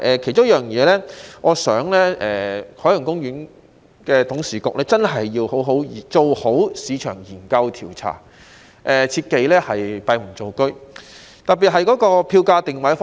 其中一點，就是海洋公園的董事局真的要做好市場研究調查，切忌閉門造車，特別是在票價定位方面。